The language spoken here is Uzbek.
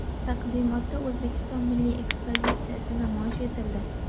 Taqdimotda O‘zbekiston milliy ekspozitsiyasi namoyish etildi.